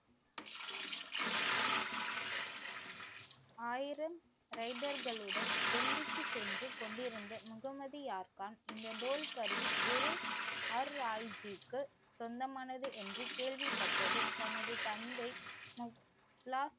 ஆயிரம் rider களுடன் டெல்லிக்கு சென்று கொண்டிருந்த முகம்மது யார்கான் இந்த டோல் கருவி பொருள் குரு ஹரிராய்ஜீக்கு சொந்தமானது என்று கேள்விபட்டதும் தனது தந்தை முப்பலாக்